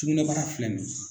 Sugunɛbara filɛ nin ye.